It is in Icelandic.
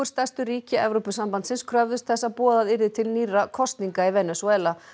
stærstu ríki Evrópusambandsins kröfðust þess að boðað yrði til nýrra kosninga í Venesúela